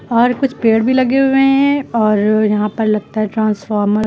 और कुछ पेड़ भी लगे हुए हैं और यहां पर लगता है ट्रांसफार्मर --